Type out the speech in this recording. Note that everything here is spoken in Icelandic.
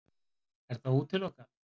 Er það útilokað?